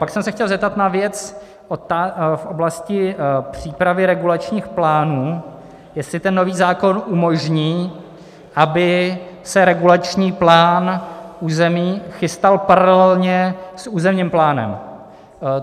Pak jsem se chtěl zeptat na věc v oblasti přípravy regulačních plánů, jestli ten nový zákon umožní, aby se regulační plán území chystal paralelně s územním plánem.